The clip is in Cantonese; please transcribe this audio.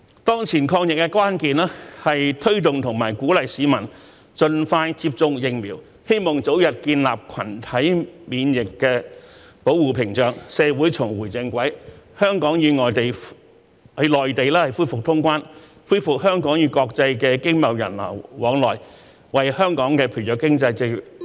當前抗疫的關鍵，是推動和鼓勵市民盡快接種疫苗，希望早日建立群體免疫保護屏障，社會重回正軌，香港與內地恢復通關，恢復香港與國際的經貿人流往來，為本地疲弱經濟注入活水......